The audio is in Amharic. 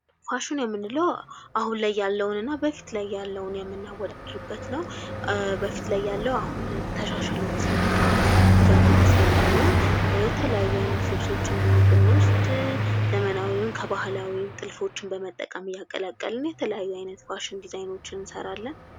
ፋሽን የምንለው አሁን ላይ ያለውንና በፊት ላይ ያለውን የምናወዳድርበት ነው በፊት ላይ ያለው አሁን ተሻሽሎ ሲመጣ እያደገ ሲመጣ ነው የተለያዩ አይነት ልብሶች ዘመናዊውን ከባህላዊ በመጠቀም እያቀለቀልን የተለያዩ አይነት ፋሽን ድዛይኖችን እንሰራለን።